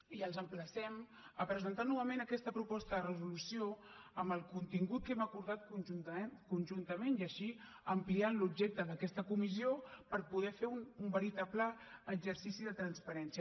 i els emplacem a presentar novament aquesta proposta de resolució amb el contingut que hem acordat conjuntament i així ampliar l’objecte d’aquesta comissió per poder fer un veritable exercici de transparència